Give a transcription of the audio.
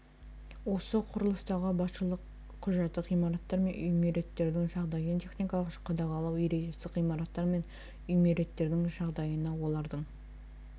осы құрылыстағы басшылық құжаты ғимараттар мен үймереттердің жағдайын техникалық қадағалау ережесі ғимараттар мен үймереттердің жағдайына олардың